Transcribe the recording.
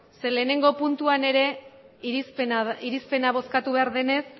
zeren eta batgarrena puntuan ere irizpena bozkatu behar denez